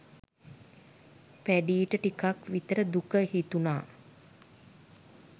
පැඞීට ටිකක් විතර දුක හිතුණා.